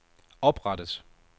oprettet